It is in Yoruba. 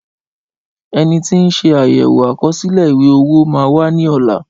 Ẹni tí ń sé àyèwò àkọsílẹ̀ ìwé-owó màa wá ní ọ̀la